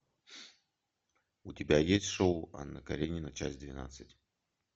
у тебя есть шоу анна каренина часть двенадцать